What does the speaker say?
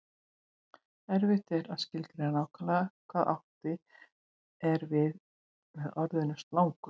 Erfitt er að skilgreina nákvæmlega hvað átt er við með orðinu slangur.